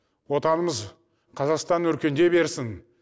отанымыз қазақстан өркендей берсін